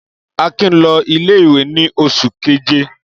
Akin lọ ilé-ìwé ní oṣù keje.